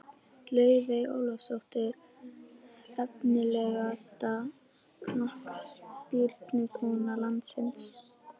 Laufey Ólafsdóttir Efnilegasta knattspyrnukona landsins?